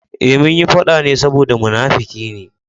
Eh, munyi faɗa ne saboda munafuki ne.